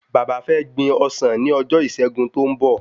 Bàbá fé gbin ọsàn ni ojo ìṣẹgun tó n bọ